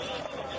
Bura salon.